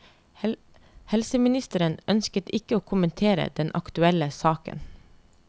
Helseministeren ønsket ikke å kommentere den aktuelle saken.